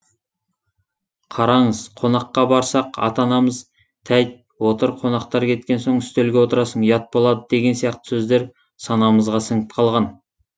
қараңыз қонаққа барсақ ата анамыз тәйт отыр қонақтар кеткен соң үстелге отырасын ұят болады деген сияқты сөздер санамызға сіңіп қалған